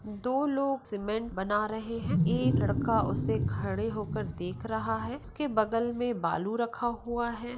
दो लोग सीमेंट बना रहे है। एक लड़का उसे खड़े होकर देख रहा है उसके बगल में बालू रखा हुआ है।